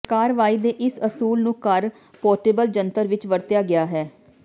ਕਾਰਵਾਈ ਦੇ ਇਸ ਅਸੂਲ ਨੂੰ ਘਰ ਪੋਰਟੇਬਲ ਜੰਤਰ ਵਿੱਚ ਵਰਤਿਆ ਗਿਆ ਹੈ